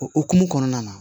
O hokumu kɔnɔna na